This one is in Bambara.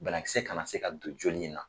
Banakisɛ kana se ka don joli in na.